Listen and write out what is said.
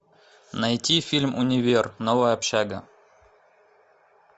найти фильм универ новая общага